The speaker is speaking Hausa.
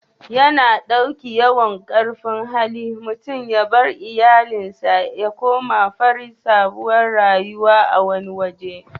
Ya na dauki yawan karfin Hali mutum ya bar iyallin sa ya kuma fara sabon rayuwa a wani waje.